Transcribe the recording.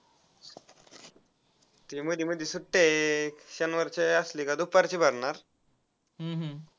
ते मध्ये मध्ये सुट्ट्या आहेत शनिवारची असली की दुपारची भरणार.